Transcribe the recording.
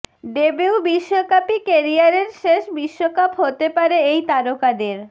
debut বিশ্বকাপই কেরিয়ারের শেষ বিশ্বকাপ হতে পারে এই তারকাদের